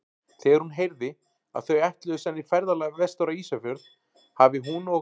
Þegar hún heyrði, að þau ætluðu senn í ferðalag vestur á Ísafjörð, hafi hún og